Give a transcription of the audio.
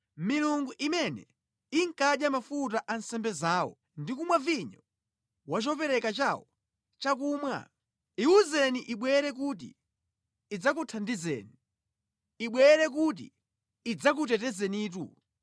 milungu imene inkadya mafuta a nsembe zawo ndi kumwa vinyo wa chopereka chawo cha chakumwa?” Iwuzeni ibwere kuti idzakuthandizeni! Ibwere kuti idzakutetezenitu!